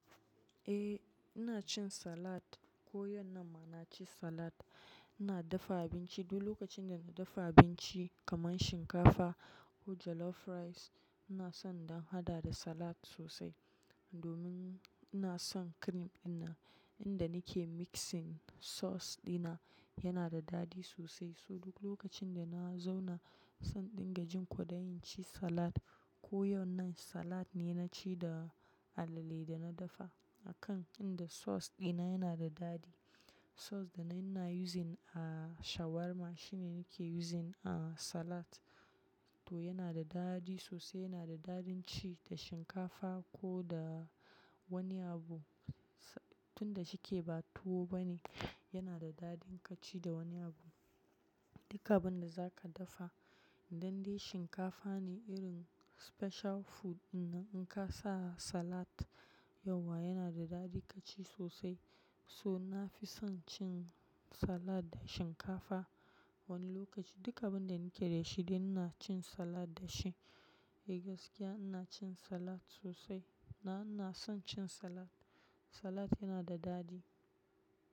Eh, ina cin salad. Ko yau nan ma na ci salad. Ina dafa abinci. Duk lokacin da na dafa abinci kaman shinkafa ko jollof rice, ina son don haɗa da salad sosai. Domin ina son cream ɗinan, inda nake mixing sauce ɗina yana da daɗi sosai. So duk lokacin da na zauna, ina son dinga jin kwaɗayi ci salad. Ko yau nan salad ne na ci da alale da na dafa. A kan inda sauce ɗina yana da daɗi. Sauce da nai ina na using a shawarma shine nake using a salad. To yana da daɗi sosai, yana da daɗin ci da shinkafa ko da wani abu. Tunda shike ba tuwo bane, yana da daɗin ka ci da wani abu. Duka abin da za ka dafa, idan dai shinkafa ne irin special food ɗinnan in ka sa salad, yauwa yana da daɗi ka ci sosai. So na fi son cin salad da shinkafa wani lokaci. Duka abin da nake da shi, dai ina cin salad da shi. Eh gaskiya ina cin salad sosai. Na ina son cin salad. Salad yana da daɗi.